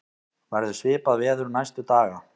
verður svipað veður næstu daga